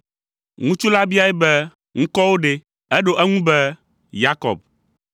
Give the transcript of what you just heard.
Ŋutsu la biae be, “Ŋkɔwò ɖe?” Eɖo eŋu be, “Yakob.”